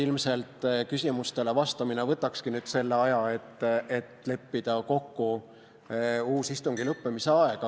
Ilmselt küsimustele vastamine võtakski nüüd selle aja, et leppida kokku uus istungi lõppemise aeg.